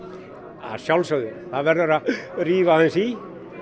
að sjálfsögðu það verður að rífa aðeins í